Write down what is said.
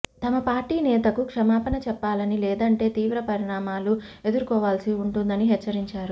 తమ పార్టీ నేతకు క్షమాపణ చెప్పాలని లేదంటే తీవ్ర పరిణామాలు ఎదుర్కోవాల్సి ఉంటుందని హెచ్చరించారు